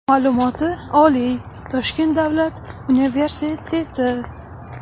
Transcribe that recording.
Ma’lumoti oliy, Toshkent Davlat universiteti.